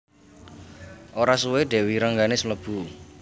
Ora suwé Dèwi Rengganis mlebu